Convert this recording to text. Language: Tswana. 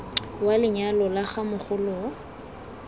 wa lenyalo la ga mogoloo